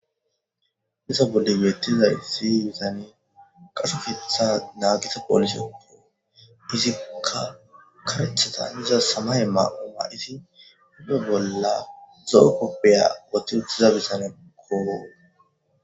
disa bolle weettizay siybisane qashofetha naagisa polisope fizika karechatan iza samaye maau madhisi ide bolla zo7o koppeya woti uttiza bisane koo